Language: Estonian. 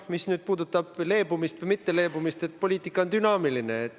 Mis puudutab leebumist või mitteleebumist, siis poliitika on dünaamiline.